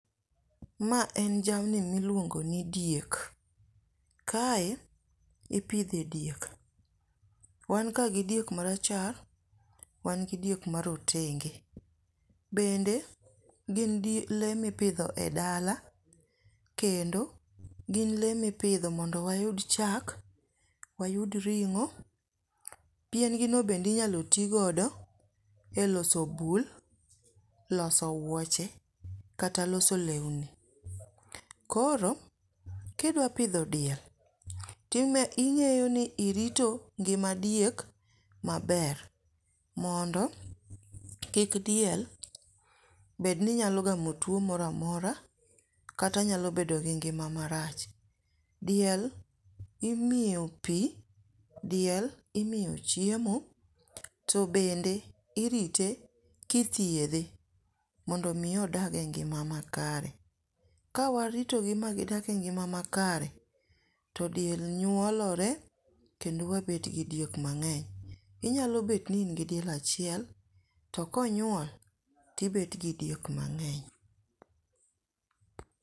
Ma en jamni miluongo ni diek, kae ipithe diek, wanka gi diek marachar wanka gi diek morotenge, bende gin lee mipitho e dala, kendo gin lee mipitho mondo wayud chak, wayud ring'o, pien gini bende inyalo ti godo e loso bul e loso wuoche kata loso lewni, koro kidwa pitho diei to ing'eyo ni irito ngima diek maber mondo kik diel bed ni inyalo gamo tuo mora mora kata nyalo bedo gi ng'ima marach. Diel imiyo pi, diel imiyo chiemo to bende irite kithiedhe mondo mi odagie e ng'ima makare, kawaritogi magidakie e ng'ima makare to diel nyuolore kendo wabet gi diek mang'eny inyalo bed ni ingi diel achiel to konyuok to ibet gi diek mang'eny.